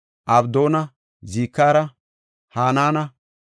Abdoona, Zikira, Hanaana,